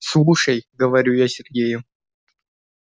слушай говорю я сергею